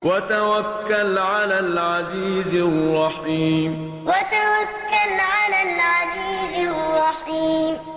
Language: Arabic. وَتَوَكَّلْ عَلَى الْعَزِيزِ الرَّحِيمِ وَتَوَكَّلْ عَلَى الْعَزِيزِ الرَّحِيمِ